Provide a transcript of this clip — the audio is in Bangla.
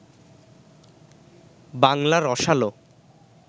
বাংলা রসালো